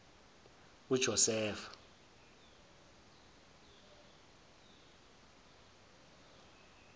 ujosefa